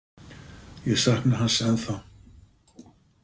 Ég sakna hans ennþá.